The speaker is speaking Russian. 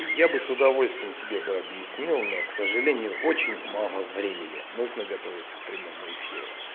я бы с удовольствием тебе бы объяснил но к сожалению очень мало времени нужно готовиться к прямому эфиру